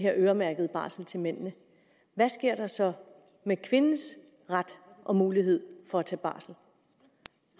her øremærkede barsel til mændene hvad sker der så med kvindens ret og mulighed for at tage barsel